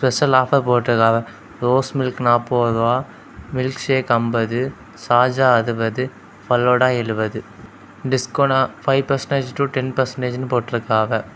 இங்க ஆஃபர் போட்டு இருக்காங்க ரோஸ் மில்க் நாற்பது ரூபாய் மில்க் ஷேக் அம்பது சார்ஜா அறுபது ஃபல்லுடா எழுவது discount five percentage to ten percentage போட்டிருக்காவ.